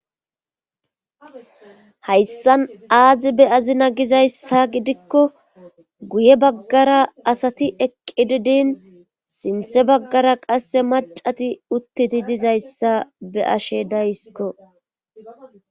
Hayssan aazi be azina gizayssa gidikko guye baggara asati eqqi didin sinthe baggara qasse macati uttidi dizayssa be ashe daysikko.